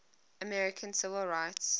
american civil rights